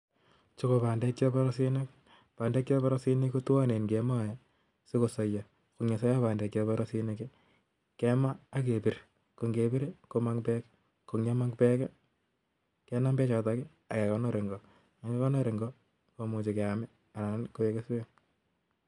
Chuu ko pandeek cheborosinik ngepir kemoeee ,anan kekindor Eng NGO KO ngekondor Eng NGO kemae sikoek kesweek